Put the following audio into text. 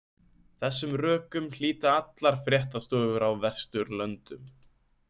Þessum rökum hlíta allar fréttastofur á Vesturlöndum.